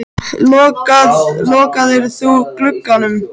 Lokaðir þú glugganum?